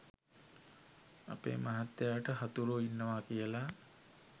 අපේ මහත්තයාට හතුරෝ ඉන්නවා කියලා.